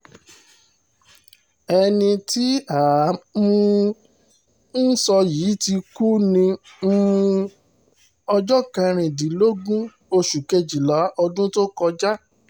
ẹni tí à um ń sọ yìí ti kú ní um ọjọ́ kẹrìndínlógún oṣù kejìlá ọdún tó kọjá